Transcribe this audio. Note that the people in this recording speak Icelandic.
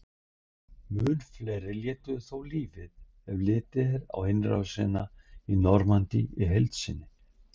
Mun fleiri létu þó lífið ef litið er á innrásina í Normandí í heild sinni.